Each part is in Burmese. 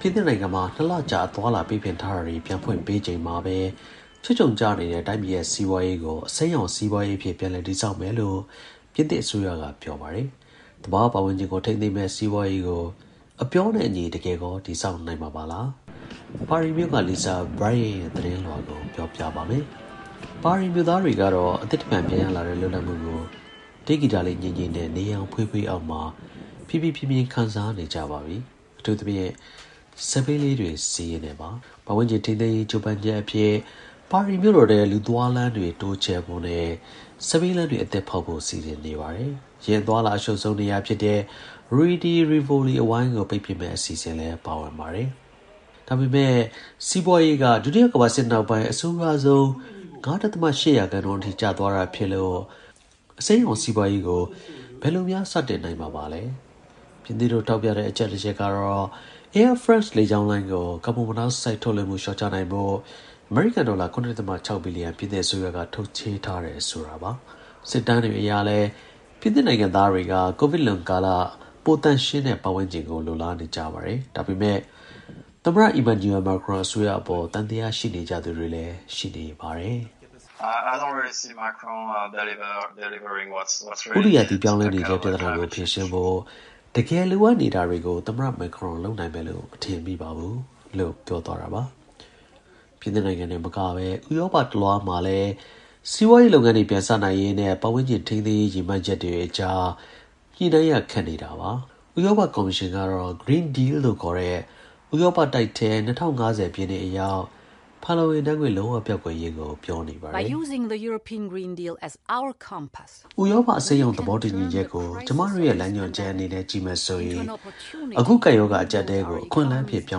ပြင်သစ်နိုင်ငံမှာ ၂ လကြာ အသွားအလာ ပိတ်ပင်ထားတာတွေ ပြန်ဖွင့်ပေးချိန်မှာပဲ ချွတ်ခြုံကျနေတဲ့ တိုင်းပြည်ရဲ့ စီးပွားရေးကို အစိမ်းရောင် စီးပွားရေးအဖြစ် ပြန်လည် တည်ဆောက်မယ်လို့ ပြင်သစ် အစိုးရက ပြောပါတယ်။ သဘာဝပတ်ဝန်းကျင်ကို ထိန်းသိမ်းမယ့် စီးပွားရေးကို အပြောနဲ့အညီ တကယ်ကော တည်ဆောက်မှာပါလား။ ပါရီမြို့က Lisa Bryant ရဲ့ သတင်းလွှာကို ကိုရဲမင်းထွန်း ပြောပြပါမယ်။ ပါရီမြို့သားတွေတော့ အသစ်တဖန်ပြန်ရလာတဲ့ လွတ်လပ်မှုကို တေးဂီတလေး ငြိမ့်ငြိမ့်နဲ့ နေရောင်ဖွေးဖွေးအောက်မှာ ပီပီပြင်ပြင် ခံစားနေကြပါပြီ။ အထူးသဖြင့် စက်ဘီးလေးတွေ စီးရင်းနဲ့ပေါ့။ ပတ်ဝန်းကျင် ထိန်းသိမ်းရေး ကြိုးပမ်းချက်အဖြစ် ပါရီမြို့တော်ထဲ လူသွားလမ်းတွေ တိုးချဲ့ဖို့နဲ့ စက်ဘီးလမ်းတွေ အသစ်ဖောက်ပေးဖို့ စီစဉ်နေပါတယ်။ ယာဉ်အသွားအလာ အရှုပ်ဆုံး နေရာဖြစ်တဲ့ Rue de Rivoli အဝိုင်းကို ပိတ်ပစ်မယ့် အစီအစဉ်လည်းပါပါတယ်။ ဒါပေမဲ့ စီးပွားရေးက ဒုတိယကမ္ဘာစစ် နောက်ပိုင်း အဆိုးရွားဆုံး ၅.၈ ရာခိုင်နှုန်းအထိ ကျသွားတာ ဖြစ်လို့ အစိမ်းရောင် စီးပွားရေးကို ဘယ်လိုများ စတင်နိုင်မှာလဲ။ ပြင်သစ်တို့ ထောက်ပြတဲ့အချက်တချက်ကတော့ Air France လေကြောင်းလိုင်းကို ကာဗွန်မိုနောက်ဆိုဒ် ထုတ်လွှင့်မှု လျှော့ချနိုင်ဖို့ အမေရိကန် ဒေါ်လာ ၇ ဒဿမ ၆ ဘီလီယံ ပြင်သစ်အစိုးရက ထုတ်ချေးထားတယ်ဆိုတာပါ။ စစ်တမ်းတွေအရလည်း ပြင်သစ်နိုင်ငံသားတွေက ကိုဗစ်လွန်ကာလ ပို သန့်ရှင်းတဲ့ ပတ်ဝန်းကျင်ကို လိုလားနေကြပါတယ်။ ဒါပေမဲ့ သမ္မတ Emmanuel Macron အစိုးရကအပေါ် သံသယရှိနေကြသူတွေလည်း ရှိနေပါတယ်။ ပြင်သစ် Greenpeace အဖွဲ့က ပြောရေးဆိုခွင့်ရှိသူ Clement Senechal က အခုလိုပြောပါတယ်။ “ဥတုရာသီပြောင်းလဲနေတဲ့ပြဿနာကို ဖြေရှင်းဖို့ တကယ်လိုအပ်နေတာတွေကို သမ္မတ Macron လုပ်လိမ့်မယ်လို့ မထင်မိပါဘူး။” ပြင်သစ်နိုင်ငံတင်မကဘဲ ဥရောပတစ်လွှားမှလည်း စီးပွားရေးလုပ်ငန်းတွေ ပြန်စနိုင်ရေးနဲ့ ပတ်ဝန်းကျင် ထိန်းသိမ်းရေး ရည်မှန်းချက် တွေအကြား ညှိရခက်နေတာပါ။ ဥရောပကော်မရှင်ကတော့ Green Deal လို့ခေါ်တဲ့ ဥရောပ တိုက်ထဲ ၂၀၅၀ ပြည့်နှစ်အရောက် ဖန်လုံ အိမ်ဓါတ်ငွေ့ လုံးဝကွယ်ပျောက်သွားရေးကို ပြောနေပါတယ်။ ဥရောပ ကော်မရှင်ဥက္ကဋ္ဌ Ursula Von Der Leyen က အခုလိုပြောပါတယ်။ “ဥရောပ အစိမ်းရောင် သဘောတူညီချက်ကို ကျွန်မတို့ရဲ့ လမ်းညွှန်ချက်အနေနဲ့ ကြည့်မယ်ဆိုရင် အခု ကပ်ရောဂါ အကျပ်အတည်း ကို အခွင့်အလမ်းအဖြစ် ပြော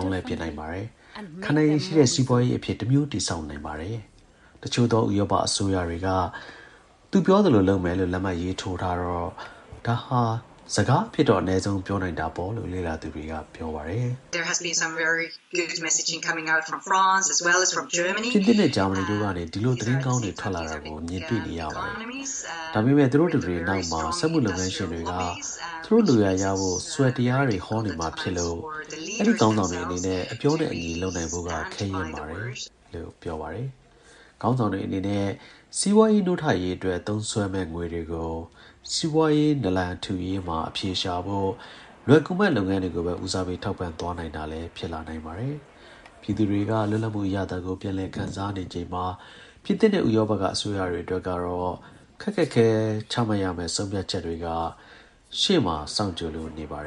င်းလဲပစ်လိုက်နိုင်ပါတယ်။ ခံနိုင်ရည်ရှိတဲ့ စီးပွားရေးအဖြစ် တစ်မျိုးတည်ဆောက် နိုင်ပါတယ်။” တစ်ချို့သောဥရောပအစိုးရတွေက သူပြောသလို လုပ်မယ်လို့ လက်မှတ်ရေးထိုးထားတော့ ဒါဟာ စကားအဖြစ်တော့ အနည်းဆုံး ပြောနိုင်တာပေါ့ လို့လည်း လေ့လာသူတွေက ဆိုပါတယ်။ ဥရောပမူဝါဒစင်တာက Annika Ahtonen က အခုလို မြင်ပါတယ်။ “ပြင်သစ်နဲ့ ဂျာမနီတို့ကနေ ဒီလို သတင်းကောင်းတွေ ထွက်လာတာကို ကျွန်မတို့ မြင်တွေ့နေရပါတယ်။ ဒါပေမဲ့ သူတို့တစ်တွေ နောက်မှာ စက်မှုလုပ်ငန်းရှင်တွေက သူတို့လိုရာရဖို့ ဆွယ်တရားဟောနေဦးမှာ ဖြစ်လို့ အဲဒီ ခေါင်းဆောင်တွေ အနေနဲ့ အပြောနဲ့အညီ လုပ်နိုင် ဖို့က ခဲယဉ်းပါတယ်။” ခေါင်းဆောင်တွေအနေနဲ့ စီးပွားရေးနိုးထရေးအတွက် သုံးမယ့်ငွေတွေကို စီးပွားရေး နာလန်ထူရေးမှာ အဖြေရှာဖို့ လွယ်ကူမယ့် လုပ်ငန်း တွေကိုပဲ ဦးစားပေး ထောက်ပံ့ပေးသွားနိုင်တာလည်း ဖြစ်လာနိုင်ပါတယ်။ ပြည်သူတွေက လွတ်လပ်မှု အရသာကို ပြန်လည် ခံစားနေချိန်မှာ ပြင်သစ်နဲ့ ဥရောပက အစိုးရတွေအတွက်ကတော့ ခက်ခက်ခဲခဲ ချမှတ်ရမယ့် ဆုံးဖြတ်ချက်တွေက ရှေ့မှာ စောင့်ကြိုလို့နေပါတယ်